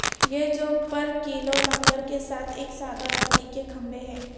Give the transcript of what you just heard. یہ جو پر کیلوں لنگر کے ساتھ ایک سادہ لکڑی کے کھمبے ہے